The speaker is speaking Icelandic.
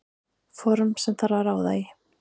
Form sem þarf að ráða í.